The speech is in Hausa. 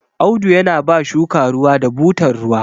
Audu yana ba shuka ruwa da butar ruwa